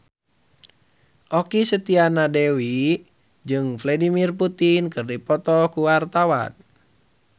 Okky Setiana Dewi jeung Vladimir Putin keur dipoto ku wartawan